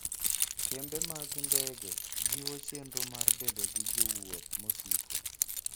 Kembe mag ndege jiwo chenro mar bedo gi jowuoth mosiko.